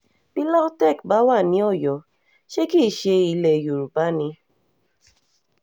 bí lautech bá wà ní ọ̀yọ́ um ṣe kì í ṣe ilẹ̀ um yorùbá ni